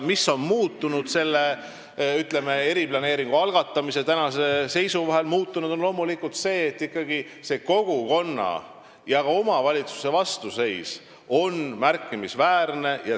Mis on muutunud selle, ütleme, eriplaneeringu algatamise ja tänase seisu vahel, on loomulikult see, et kogukonna ja ka omavalitsuse vastuseis on märkimisväärne.